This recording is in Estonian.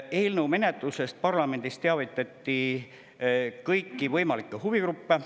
Eelnõu menetlusest parlamendis teavitati kõiki võimalikke huvigruppe.